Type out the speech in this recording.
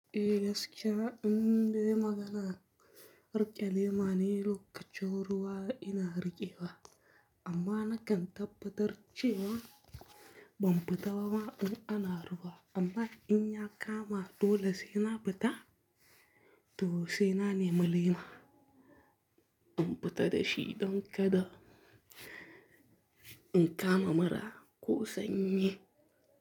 Gaskiya, indai maganan, rike lema ne lokacin ruwa ina rike wa. Amma na kan tabbatar cewa ban futa ba in ana ruwa. Amma in ya kama dole sai na fita, to sai na nemi lema. In fita da shi don kada in kama mura ko sanyi.